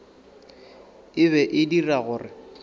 e be e dira gore